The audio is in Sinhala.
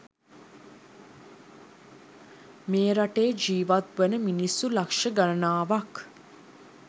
මේ රටේ ජීවත්වන මිනිස්සු ලක්ෂ ගණනාවක්